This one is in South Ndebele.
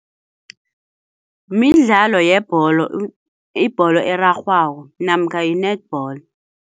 Midlalo yebholo ibholo erarhwako namkha yi-netball.